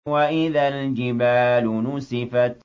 وَإِذَا الْجِبَالُ نُسِفَتْ